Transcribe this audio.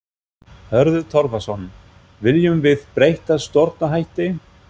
Hörður Torfason: Viljum við breytta stjórnarhætti?